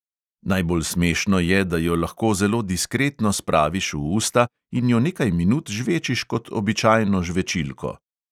Najbolj smešno je, da jo lahko zelo diskretno spraviš v usta in jo nekaj minut žvečiš kot običajno žvečilko.